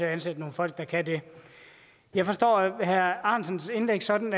at ansætte nogle folk der kan det jeg forstår herre alex ahrendtsens indlæg sådan